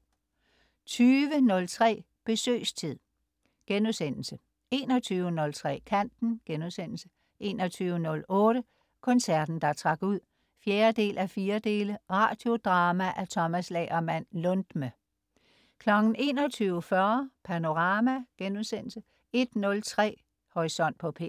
20.03 Besøgstid* 21.03 Kanten* 21.08 Koncerten der trak ud 4:4. Radiodrama af Tomas Lagerman Lundme 21.40 Panorama* 01.03 Horisont på P1* 02.03